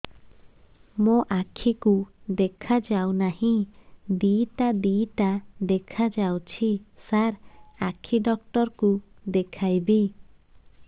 ମୋ ଆଖିକୁ ଦେଖା ଯାଉ ନାହିଁ ଦିଇଟା ଦିଇଟା ଦେଖା ଯାଉଛି ସାର୍ ଆଖି ଡକ୍ଟର କୁ ଦେଖାଇବି